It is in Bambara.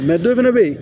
dɔ fɛnɛ bɛ yen